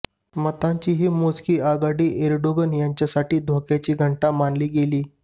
मतांची ही मोजकी आघाडी एर्डोगन यांच्यासाठी धोक्याची घंटा मानली गेली